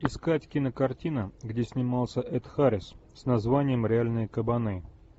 искать кинокартина где снимался эд харрис с названием реальные кабаны